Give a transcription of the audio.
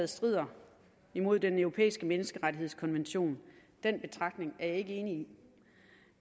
strider imod den europæiske menneskerettighedskonvention den betragtning er jeg ikke enig i